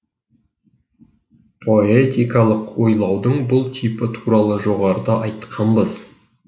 поэтикалық ойлаудың бұл типі туралы жоғарыда айтқанбыз